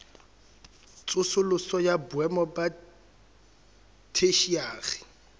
tsosoloso ya boemo ba theshiari